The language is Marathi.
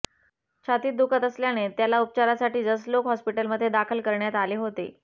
छातीत दुखत असल्याने त्याला उपचारासाठी जसलोक हॉस्पिटलमध्ये दाखल करण्यात आले होते